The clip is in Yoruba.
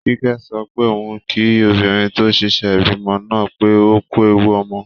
Kíkẹ́ sọ pé òun kí obìnrin tó ṣẹ̀ṣẹ̀ bímọ náà pé ókú ẹwu ọmọ